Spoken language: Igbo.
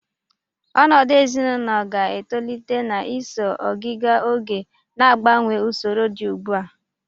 Ọnọdụ ezinaụlọ ga-etolite na-eso ogiga oge, na-agbanwe usoro dị ugbua.